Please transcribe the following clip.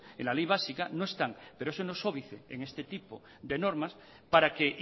en la ley básica no están pero eso no es óbice en este tipo de normas para que